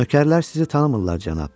Nökərlər sizi tanımırlar, cənab.